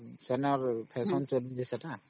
noise